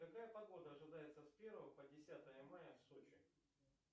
какая погода ожидается с первого по десятое мая в сочи